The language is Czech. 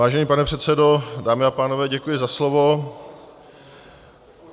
Vážený pane předsedo, dámy a pánové, děkuji za slovo.